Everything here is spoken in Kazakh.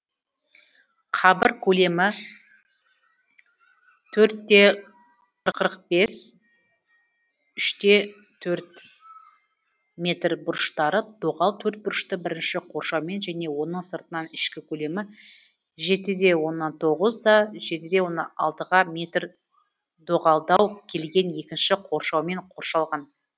қабір көлемі төрт те қырық бес үш те төрт метр бұрыштары доғал төртбұрышты бірінші қоршаумен және оның сыртынан ішкі көлемі жеті де тоғыз жеті де алты метр дөғалдау келген екінші қоршаумен қоршалған